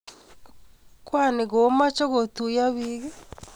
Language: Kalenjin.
kwoni komochei kootuyo biik